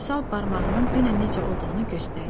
Vüsal barmağının dünən necə olduğunu göstərdi.